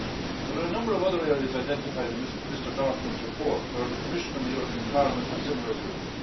There are a number of other areas identified in Mr Dorfmann's report where the Commission and the European Parliament have similar views.